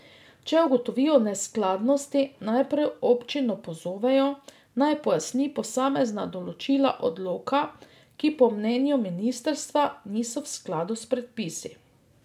Če ugotovijo neskladnosti, najprej občino pozovejo, naj pojasni posamezna določila odloka, ki po mnenju ministrstva niso v skladu s predpisi.